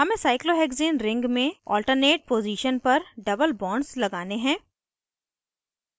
हमें cyclohexane ring में alternate position पर double bonds लगाने हैं